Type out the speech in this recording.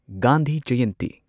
Gandhi Jayanti